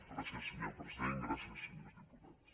gràcies senyor president gràcies senyors diputats